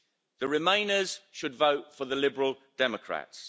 The Remainers should vote for the Liberal Democrats.